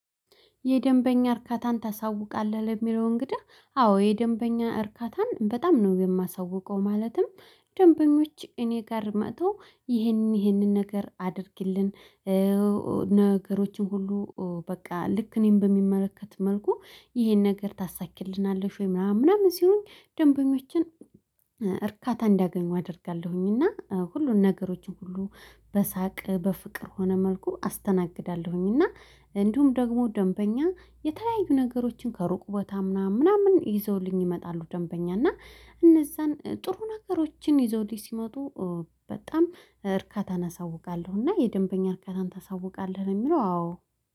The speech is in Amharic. የደንበኛ እርካታን ታሳውቃለህ? ለሚለው እንግዳ አዎ የደንበኛ እርካታን በጣም ነው የማሳውቀው ማለትም ደንበኞች እኔ ጋር መጥተው ይሄንን ይሄንን ነገር አድርጊልን ነገሮችን ሁሉ በቃ ልክ እኔን በሚመለከት መልኩ ይሄን ነገር ታሳኪልናለሽ ወይ ምናምን ምናምን ሲሆን ደንበኞችን እርካታ እንዳገኙ አደርጋለሁኝ እና ሁሉን ነገሮችን ሁሉ በሳቅ በፍቅር ሆነ መልኩ አስተናግዳለሁኝ እና እንዲሁም ደግሞ ደንበኛ የተለያዩ ነገሮችን ከሩቅ ቦታ ምናምን ምናምን ይዘውልኝ ይመጣሉ ደንበኛ እና እነዛን ጥሩ ነገሮችን ይዘውልኝ ሲመጡ በጣም እርካታን አሳውቃለሁ እና የደንበኛ እርካታን ታሳውቃለህ ነው የሚለው አዎ